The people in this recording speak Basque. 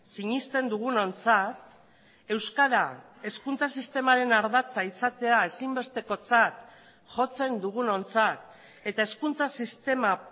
sinesten dugunontzat euskara hezkuntza sistemaren ardatza izatea ezinbestekotzat jotzen dugunontzat eta hezkuntza sistema